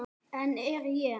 En ég er.